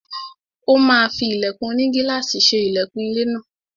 Ó máa fí ilẹ̀kùn onigílàsì ṣe ilẹkùn ilé náà.